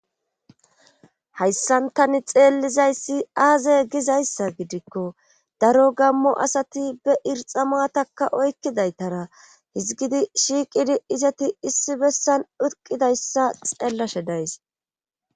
Hayssan tani xeellizayssi aaze gizayssa gidikko daro gammo asati be irxa matakka oykkidaytara hizgidi shiiqidi izati issi bessan dutqidayssa xeellashe days.